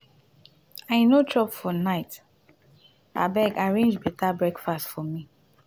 i no chop for night abeg arrange beta breakfast for me.